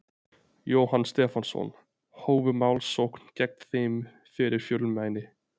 Jóhann Stefánsson, hófu málsókn gegn þeim fyrir fjölmæli.